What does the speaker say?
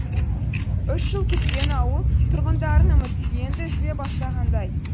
үш жыл күткен ауыл тұрғындары үміті енді үзіле бастағандай